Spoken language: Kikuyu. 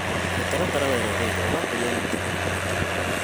Mĩtaratara weretheirwo ũrakũria ũnyitanĩri wa timu.